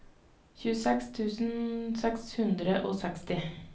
tjueseks tusen seks hundre og seksti